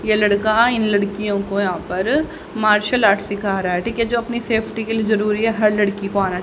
ये लड़का इन लड़कियों को यहां पर मार्शल आर्ट सीख रहा है ठीक है जो अपनी सेफ्टी के लिए जरूरी है हर लड़की को आना--